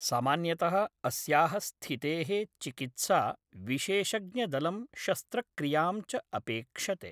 सामान्यतः अस्याः स्थितेः चिकित्सा विशेषज्ञदलं शस्त्रक्रियां च अपेक्षते।